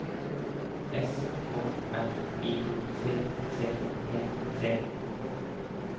S K R I T T E T